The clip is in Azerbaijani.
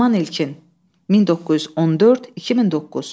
Qılman İlkin, 1914-2009.